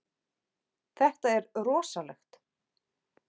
Þetta er rosalegt.